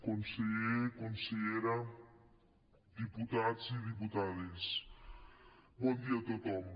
conseller consellera diputats i diputades bon dia a tothom